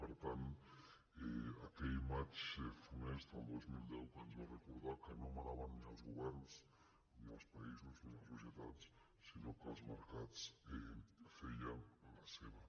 per tant aquell maig funest del dos mil deu que ens va recordar que no manaven ni els governs ni els països ni les societats sinó que els mercats feien la seva